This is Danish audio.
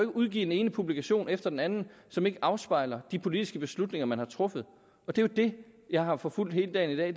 udgive den ene publikation efter den anden som ikke afspejler de politiske beslutninger man har truffet det er det jeg har forfulgt hele dagen i